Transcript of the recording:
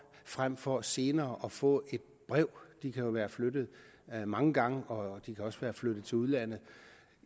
frem for senere at få et brev de kan jo være flyttet mange gange og de kan også være flyttet til udlandet